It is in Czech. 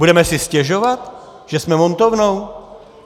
Budeme si stěžovat, že jsme montovnou?